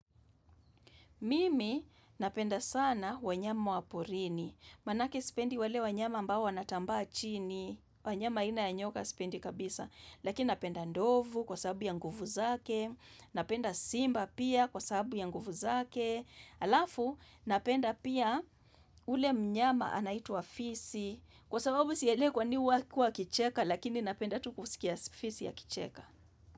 Mimi napenda sana wanyama wa porini, manake sipendi wale wanyama ambao wanatambaa chini, wanyama aina ya nyoka sipendi kabisa, lakini napenda ndovu kwa sababu ya nguvu zake, napenda simba pia kwa sababu ya nguvu zake, alafu napenda pia ule mnyama anaitwa fisi, kwa sababu sielewi kwa nini huwa kua akicheka lakini napenda tu kusikia fisi akicheka.